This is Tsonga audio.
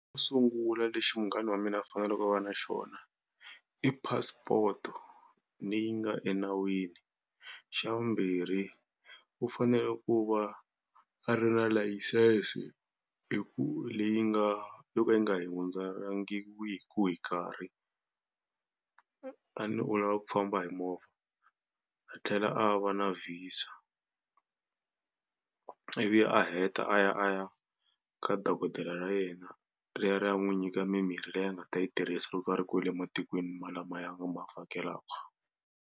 Sungula lexi munghana wa mina a faneleke a va na xona i passport-o leyi nga enawini. Xa vumbirhi u fanele ku va a ri na license hi ku leyi nga yo ka yi hi nkarhi a ni u lava ku famba hi movha. A tlhela a va na VISA ivi a heta a ya a ya ka dokodela ra yena ri ya ri ya n'wi nyika mimirhi leyi a nga ta yi tirhisa loko a ri kwale matikweni malamaya ma va vhakelaku.